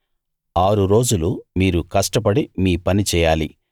ఆరు రోజులు మీరు కష్టపడి మీ పని చేయాలి